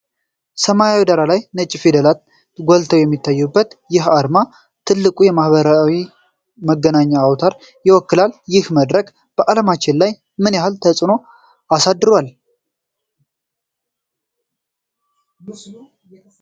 ሰማያዊ ዳራ ላይ ነጭ ፊደላት ጎልተው የሚታዩበት ይህ አርማ፣ ትልቁን የማኅበራዊ መገናኛ አውታር ይወክላል። ይህ መድረክ በዓለማችን ላይ ምን ያህል ተፅዕኖ አሳድሯል?